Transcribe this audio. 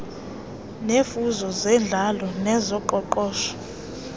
neemfuno zentlalo nezoqoqosho